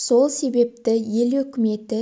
сол себепті ел үкіметі